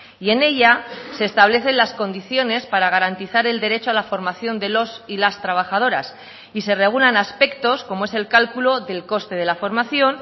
y en ella se establecen las condiciones para garantizar el derecho a la formación de los y las trabajadoras y se regulan aspectos como es el cálculo del coste de la formación